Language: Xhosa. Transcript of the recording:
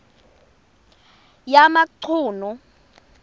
yamachunu